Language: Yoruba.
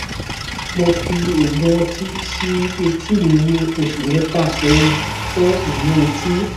mo fi òògùn ọtí sí etí mi ní oṣù mẹfà sẹyìn fún imú etí